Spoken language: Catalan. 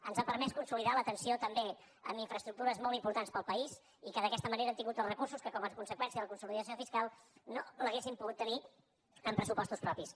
ens ha permès consolidar l’atenció també en infraestructures molt importants per al país i que d’aquesta manera hem tingut els recursos que com a conseqüència de la consolidació fiscal no els hauríem pogut tenir amb pressupostos propis